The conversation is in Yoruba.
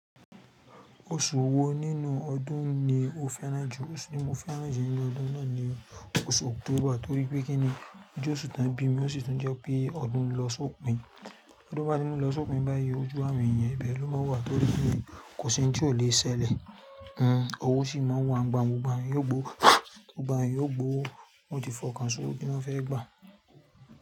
Oṣù wo nínú ọdún ni o fẹ́ràn jù? Oṣù tí mo fẹ́ràn jù nínú ọdún náà ni oṣù October, torí pé kíni, ojóṣù tá bí mi ó sì tún jẹ́ pé ọdún ń lọ sópin. Todún bá ti ń lọ sópin báyìí, ojú àwọn èèyàn ibẹ́ ló máa wà torí pé kò sí ohun tí ò le ṣẹlẹ̀. Hmmm ọwọ́ sì máa ń wá, gbogbo gbogbo àwọn èèyàn yio gbo, wọ́n ti fọkàn só'wo tí wọ́n fẹ́ gbà.